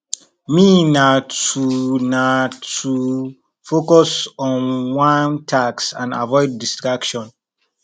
me na to na to focus on one task and avoid distraction